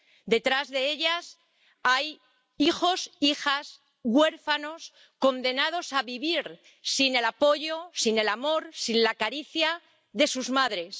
Detrás de ellas hay hijos e hijas huérfanos condenados a vivir sin el apoyo, sin el amor, sin la caricia de sus madres.